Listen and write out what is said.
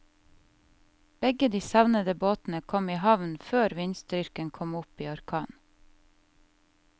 Begge de savnede båtene kom i havn før vindstyrken kom opp i orkan.